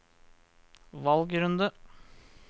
valgrunde